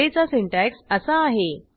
ऍरेचा syntax असा आहे